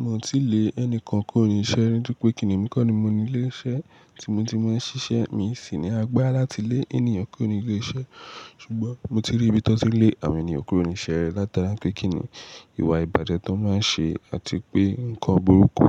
Mi ò ti lé ẹnìkan kúrò ni iṣẹ́ rí, nítorí pé kíni èmi kọ́ ni mo ní ilé iṣẹ́ tí mo ti máa ń ṣiṣẹ́. Mi sì ní agbára láti lé ènìyàn kúrò ní ilé iṣẹ́. Ṣùgbọ́n mo ti rí bí wọ́n ti le àwọn ènìyàn kúrò ní iṣẹ́ rí látara pé kíni ìwà ìbàjẹ́ tí wọ́n máa ń ṣe àti pé nǹkan burúkú.